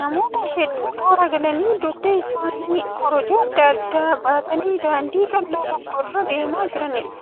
Namoota hedduu toora galanii dugda isaaniitti korojoo adda addaa baatanii daandii qal'oo tokko irra deemaa jiraniidha.